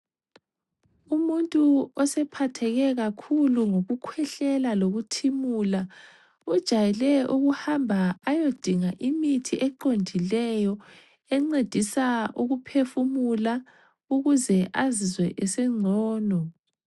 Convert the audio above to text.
Umuntu osephatheke kakhulu ngokukhwehlela lokuthimula ujayele ukuhamba ayodinga imithi eqondileyo encedisa ukuphefumula ukuze azizwe esengcono.